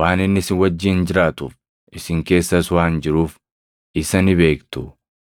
waan inni isin wajjin jiraatuuf, isin keessas waan jiruuf isa ni beektu.